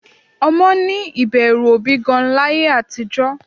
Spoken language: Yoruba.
Ọmọ ní ìbẹ̀rù òbí gan-an láyé àtijọ́